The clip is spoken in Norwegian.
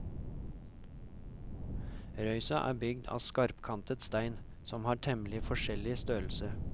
Røysa er bygd av skarpkantet stein som har temmelig forskjellig størrelse.